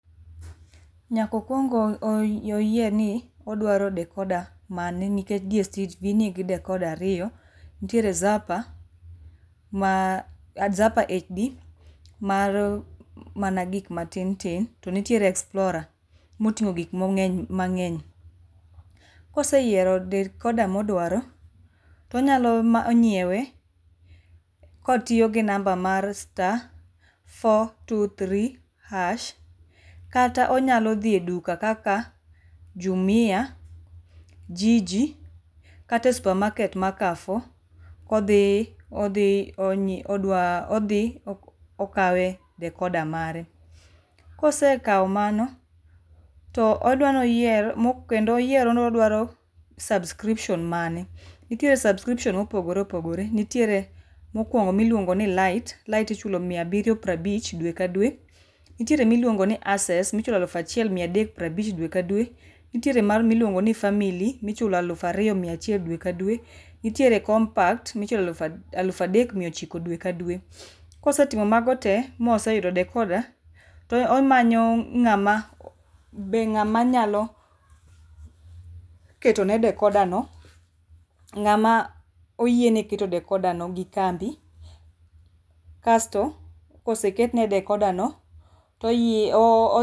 Nyak okuong mokuong oyier ni odwaro decoder mane nikech DSTV nigi decoder airyo, nitiere zapa, zapa HD mar mana gik matin tin to nitie explorer motingo gik mangeny. Koseyiero decoder modwaro, to onyalo nyiewe kotiyo gi namba mar star four, wo three hash kata onyalo dhi e duka kaka jumia, jiji, kata e supermarket mar Carrefour kodhi, odho onyiew, odwa, odho okawe d decoder mare. Kosekao mano to odwa ni oyier, kedno oyienro ni odwaro subscription mane, nitiere subscription ma opogore opogore, nitiere mokuongo miluongo ni lite, lite ichulo mia abiri prabich dwe ka dwe, nitie miluongo ni access michulo aluf achiel prabich dwe ka dwe, nitie miluongo ni family michulo aluf ariyo mia achiel dwe ka dwe, nitiere compact michulo aluf adek mia ochiko dwe ka odwe. Kosechulo mago tee moseyudo decoder to omanyo ngama be ngama nyalo ketone decoder no ng'ama oyiene keto decoder no gi kambi kasto koseketne decoder no to